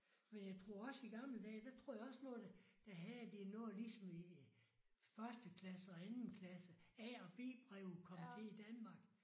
Men jeg tror også i gamle dage der tror jeg også noget der havde de noget ligesom i første klasse og anden klasse A og B breve kom til i Danmark